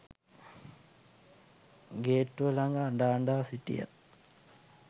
ගේට්ටුව ලඟ අඬ අඬා සිටියා